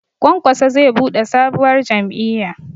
Kwankwaso zai buɗe sabuwar jam'iyya